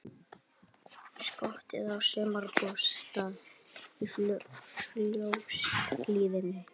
Skotið á sumarbústað í Fljótshlíðinni